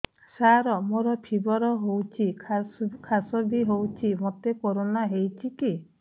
ସାର ମୋର ଫିବର ହଉଚି ଖାସ ବି ହଉଚି ମୋତେ କରୋନା ହେଇଚି କି